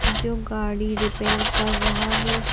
जो गाड़ी रिपेयर कर रहा है।